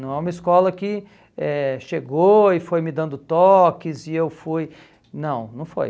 Não é uma escola que eh chegou e foi me dando toques e eu fui... Não, não foi.